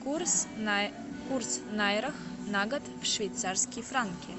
курс в найрах на год в швейцарские франки